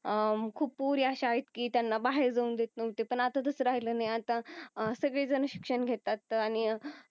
अह खूप पोरी अशा आहे. की त्यांना बाहेर जाऊ देत नव्हते पण आता तस राहील नाही आता अह सगळे जण शिक्षण घेतात आणि